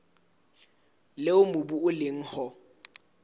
leo mobu o leng ho